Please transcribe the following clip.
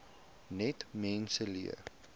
net mense leer